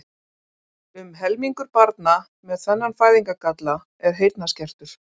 Um helmingur barna með þennan fæðingargalla er heyrnarskertur.